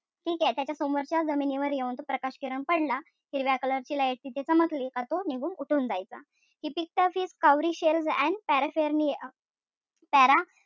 ठीकेय? त्याच्या समोरच्या जमिनीवर येऊन तो प्रकाशकिरण पडला, हिरव्या color ची light तिथे चमकली कि तो निघून उठून जायचा. He picked up his cowrie shells and paraphernalia and was putting them,